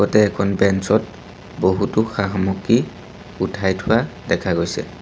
লগতে এখন বেঞ্চ ত বহুতো সা-সামগ্ৰী উঠাই থোৱা দেখা গৈছে।